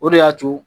O de y'a to